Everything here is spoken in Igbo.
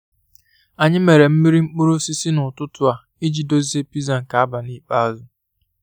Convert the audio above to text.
Anyị mere mmiri mkpụrụ osisi n'ụtụtụ a iji dozie Piza nke abalị ikpeazụ.